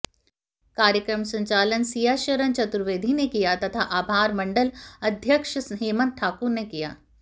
कार्यक्रम संचालन सियाशरण चतुर्वेदी ने किया तथा आभार मण्डल अध्यक्ष हेमंत ठाकुर ने किया